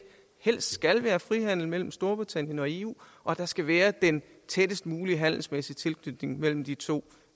helst skal være frihandel mellem storbritannien og eu og at der skal være den tættest mulige handelsmæssige tilknytning mellem de to